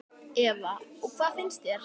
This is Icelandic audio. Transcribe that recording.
Eva: Og hvað finnst þér?